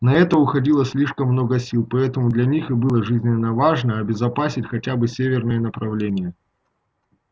на это уходило слишком много сил поэтому для них и было жизненно важно обезопасить хотя бы северное направление